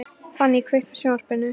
Fanny, kveiktu á sjónvarpinu.